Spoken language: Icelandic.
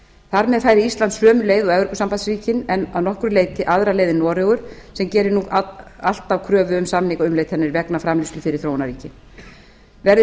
þar með fari ísland sömu leið og evrópusambandsríkin en að nokkru leyti aðra leið en noregur sem gerir nú alltaf kröfu um samningaumleitanir vegna framleiðslu fyrir þróunarríkin verði